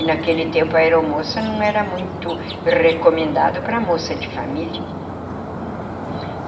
E naquele tempo a aeromoça não era muito recomendado para moça de família. Uhum.